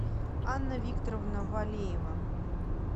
анна викторовна валеева